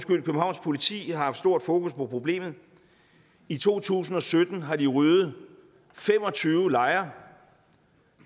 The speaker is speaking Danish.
københavns politi har haft stort fokus på problemet i to tusind og sytten har de ryddet fem og tyve lejre